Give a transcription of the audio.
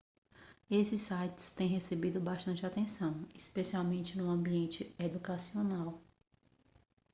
esses sites têm recebido bastante atenção especialmente no ambiente educacional